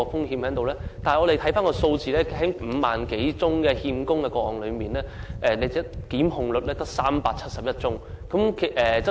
根據有關數據，在5萬多宗欠供個案中，成功檢控的只有371宗，比率實在偏低。